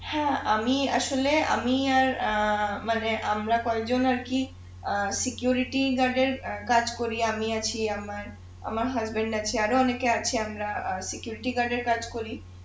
হ্যাঁ, আমি আসলে আমি অ্যাঁ মানে আমরা কয়জন আর কি অ্যাঁ এর কাজ করি আমি আছি আমার আমার আছে আরো অনেকে আছি আমরা এর কাজ করি